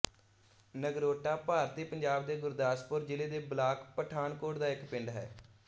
ਨਗਰੋਟਾ ਭਾਰਤੀ ਪੰਜਾਬ ਦੇ ਗੁਰਦਾਸਪੁਰ ਜ਼ਿਲ੍ਹੇ ਦੇ ਬਲਾਕ ਪਠਾਨਕੋਟ ਦਾ ਇੱਕ ਪਿੰਡ ਹੈ